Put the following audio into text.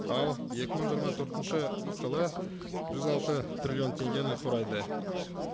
ал екі мың жиырма төртінші жылы жүз алты триллион теңгені құрайды